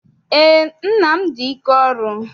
Eé, nna m dị ike ọrụ.